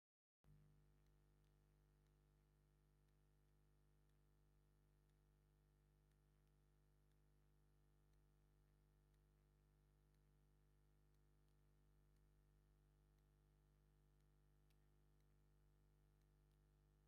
ንግድን ምትዕድዳግን ትርፊን ኪሳራን ፈሊና እንፈልጠሉ ናይ ስራሕ ዓይነት ኮይኑ፤ ብርክት ዝበሉ ሰባት አብ መንገዲ ዝተፈላለዩ ሕብሪን ክዳውንቲን ዘለዎም አጭርቅቲ ንክሸጡ ዘርጊሖም ይርከቡ፡፡ ናይዚ ጨርቂ ሓደ ሜትሮ ዋጋ ክንደይ እዩ?